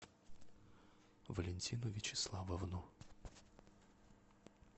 валентину вячеславовну